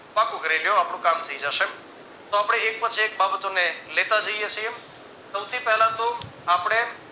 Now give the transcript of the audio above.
પાકું કરી લ્યો આપણું કામ થઈ જશે તો આપણે એક પછી એક બાબતોને લેતા જઈએ છીએ સૌથી પહેલા તો આપણે